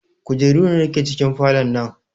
Kujeru nawa ke cikin falon nan?